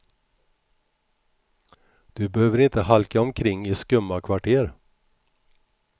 Du behöver inte halka omkring i skumma kvarter.